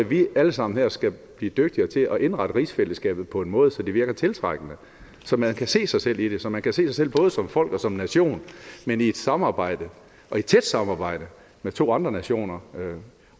vi alle sammen her skal blive dygtigere til at indrette rigsfællesskabet på en måde så det virker tiltrækkende så man kan se sig selv i det så man kan se sig selv både som folk og som nation men i et samarbejde et tæt samarbejde med to andre nationer